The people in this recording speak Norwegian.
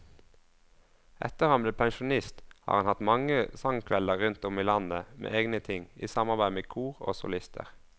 Etter at han ble pensjonist har han hatt mange sangkvelder rundt om i landet med egne ting, i samarbeid med kor og solister.